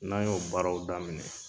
N'an y'o baaraw daminɛ